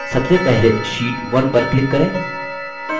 सबसे पहले sheet 1 पर click करें